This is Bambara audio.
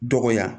Dɔgɔya